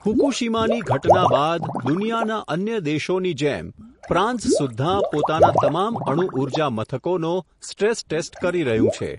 ફુકૂશીમાની ઘટના બાદ દુનિયાના અન્ય દેશોની જેમ, ફ્રાંસ સુધ્ધાં પોતાના તમામ અણુઊર્જા મથકોનો, સ્ટ્રેસ ટેસ્ટ કરી રહ્યું છે.